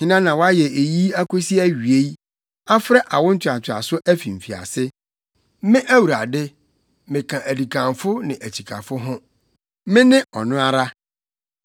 Hena na wayɛ eyi akosi awiei, afrɛ awo ntoatoaso afi mfiase? Me Awurade, meka adikanfo ne akyikafo ho, Mene ɔno ara.”